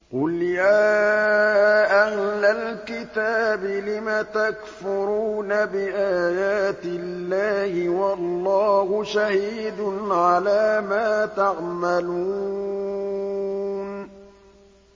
قُلْ يَا أَهْلَ الْكِتَابِ لِمَ تَكْفُرُونَ بِآيَاتِ اللَّهِ وَاللَّهُ شَهِيدٌ عَلَىٰ مَا تَعْمَلُونَ